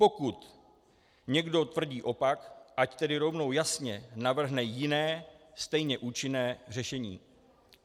Pokud někdo tvrdí opak, ať tedy rovnou jasně navrhne jiné, stejně účinné řešení.